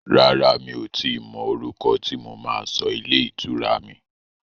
Rárá, mi ò tíì mọ orúkọ tí mo máa sọ ilé ìtura mi.